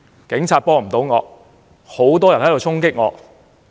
警察幫不到我，很多人衝擊我。